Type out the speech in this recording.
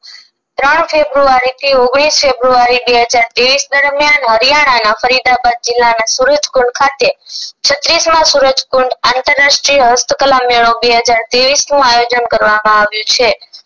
ત્રણ ફેબ્રુઆરી થી ઓગણીસ ફેબ્રુઆરી બે હજાર ત્રેવીસ દરમિયાન હરિયાણાના ફરીદાબાદ જિલ્લાના સુરજકુંડ ખાતે છત્રીસ માં સુરજકુંડ આંતરરાષ્ટીય હસ્તકળા મેળો બે હજાર ત્રેવીસ નું આયોજન કરવામાં આવ્યું છે